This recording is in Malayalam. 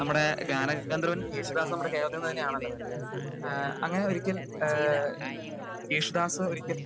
നമ്മുടെ ഗാന ഗന്ധർവ്വൻ യേശുദാസ് നമ്മുടെ കേരളത്തിൽ തന്നെയാണല്ലോ ഏഹ് അങ്ങനെ ഒരിക്കൽ ഏഹ് യേശുദാസ് ഒരിക്കൽ